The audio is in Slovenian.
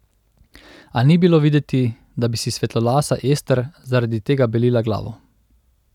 A ni bilo videti, da bi si svetlolasa Ester zaradi tega belila glavo.